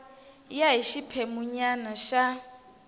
ya hi xiphemu nyana xa